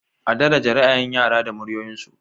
A daraje ra'ayin yara da muryoyinsu.